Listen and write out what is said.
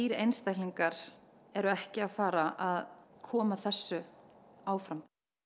einstaklingar eru ekki að fara að koma þessu áfram